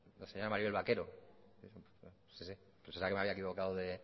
la señora maribel vaquero sí si que pensaba que me había equivocado de